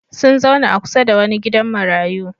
Sun zauna a kusa da wani gidan marayu.